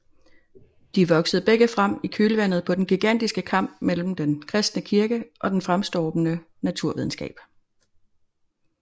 De voksede begge frem i kølvandet på den gigantiske kamp mellem den kristne kirke og den fremstormende naturvidenskab